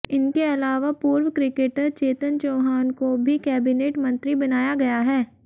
इनके अलावा पूर्व क्रिकेटर चेतन चौहान को भी कैबिनेट मंत्री बनाया गया है